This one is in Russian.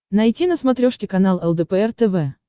найти на смотрешке канал лдпр тв